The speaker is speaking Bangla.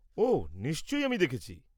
ওহ, নিশ্চয়ই, আমি দেখছি।